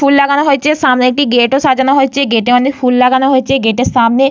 ফুল লাগানো হয়েছে। সামনে একটি গেট ও সাজানো হয়েছে। গেট এ অনেক ফুল লাগানো হয়েছে। গেট -এর সামনে--